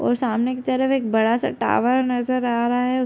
और सामने की तरफ एक बड़ा सा टावर नज़र आ रहा है |